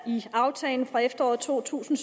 i aftalen fra efteråret to tusind